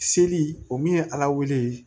Seli o min ye ala wele